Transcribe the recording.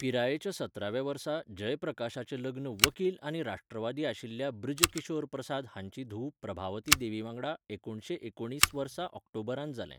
पिरायेच्या सतराव्या वर्सा, जयप्रकाशाचें लग्न वकील आनी राष्ट्रवादी आशिल्ल्या बृज किशोर प्रसाद हांची धूव प्रभावती देवीवांगडा एकुणीसशें एकुणीस वर्सा ऑक्टोबरांत जालें.